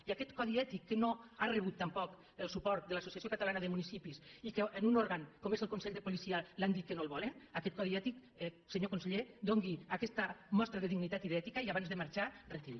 i aquest codi ètic que no ha rebut tampoc el suport de l’associació catalana de municipis i que en un òrgan com és el consell de policia li han dit que no el volen aquest codi ètic senyor conseller doni aquesta mostra de dignitat i d’ètica i abans de marxar retiri’l